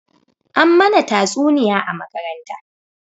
An mana tatsuniya a makaranta